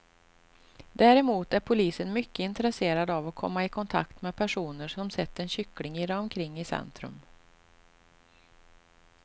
Däremot är polisen mycket intresserad av att komma i kontakt med personer som sett en kyckling irra omkring i centrum.